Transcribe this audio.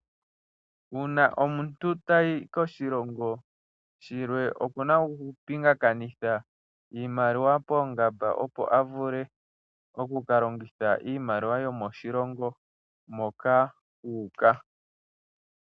Uuna omuntu ta yi koshilongo shilwe okuna okupingakanitha iimaliwa poongamba opo avule oku kalongitha iimaliwa yomo shilongo moka uuka.